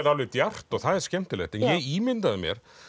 djarft og það er skemmtilegt en ég ímyndaði mér